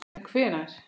En hvenær?